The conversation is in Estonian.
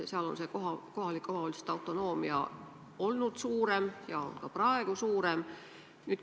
Seal on kohalike omavalitsuste autonoomia olnud suurem ja on ka praegu suurem.